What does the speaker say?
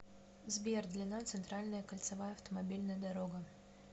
сбер длина центральная кольцевая автомобильная дорога